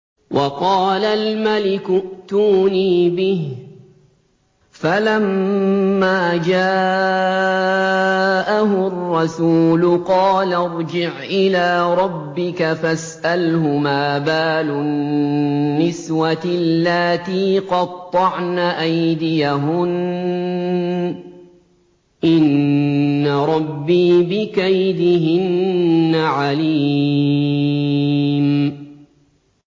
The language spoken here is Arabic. وَقَالَ الْمَلِكُ ائْتُونِي بِهِ ۖ فَلَمَّا جَاءَهُ الرَّسُولُ قَالَ ارْجِعْ إِلَىٰ رَبِّكَ فَاسْأَلْهُ مَا بَالُ النِّسْوَةِ اللَّاتِي قَطَّعْنَ أَيْدِيَهُنَّ ۚ إِنَّ رَبِّي بِكَيْدِهِنَّ عَلِيمٌ